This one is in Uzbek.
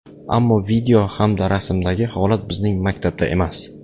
Ammo video hamda rasmdagi holat bizning maktabda emas.